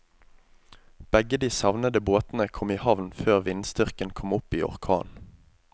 Begge de savnede båtene kom i havn før vindstyrken kom opp i orkan.